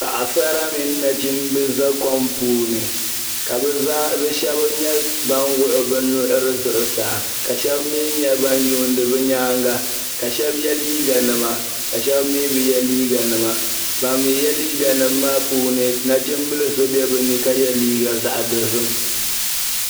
Paɣa sara mini nachimba za kom puuni ka be shɛba nyɛ ban wuɣi be nuɣiri zuɣusaa ka shɛba mii nyɛ ban yuuni be nyaaŋa ka shɛba ye liiganima ka shɛba mii be ye liiganima ban mii ye liiganima maa puuni nachimbili so be bɛ ni ka ye liiga zaɣ'dozim.